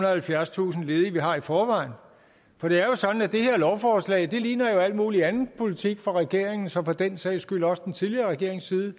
og halvfjerdstusind ledige vi har i forvejen for det er jo sådan at det her lovforslag ligner alt mulig anden politik fra regeringens og for den sags skyld også fra den tidligere regerings side